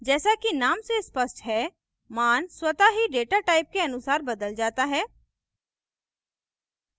जैसा कि name से स्पष्ट है मान स्वतः ही data type के अनुसार बदल data है